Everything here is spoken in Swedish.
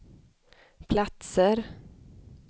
platser